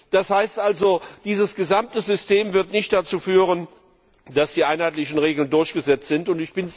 Das heißt also, dieses gesamte System wird nicht dazu führen, dass die einheitlichen Regeln durchgesetzt werden.